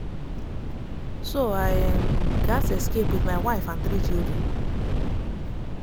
so i um gatz escape with my wife and three children.